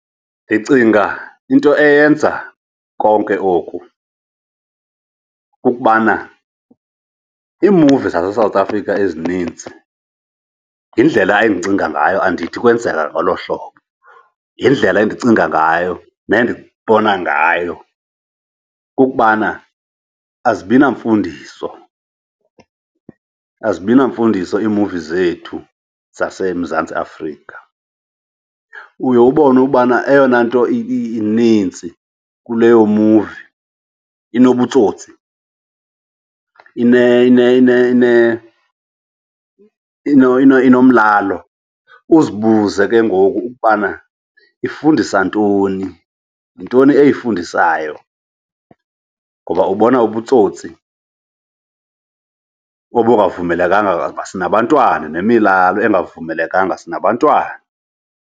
Ndicinga into eyenza konke oku kukubana iimuvi zaseSouth Africa ezininzi, yindlela endicinga ngayo andithi kwenzeka ngolo hlobo. Yindlela endicinga ngayo nendibona ngayo kukubana azibi namfundiso, azibi namfundiso iimuvi zethu zaseMzantsi Afrika. Uye ubone ubana eyona nto inintsi kuleyo muvi inobutsotsi, inomlalo. Uzibuze ke ngoku ukubana ifundisa ntoni, yintoni eyifundisayo ngoba ubona ubutsotsi obungavumelekanga sinabantwana, nemilalo engavumelekanga, sinabantwana.